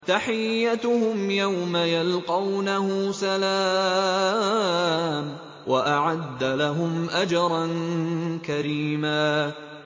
تَحِيَّتُهُمْ يَوْمَ يَلْقَوْنَهُ سَلَامٌ ۚ وَأَعَدَّ لَهُمْ أَجْرًا كَرِيمًا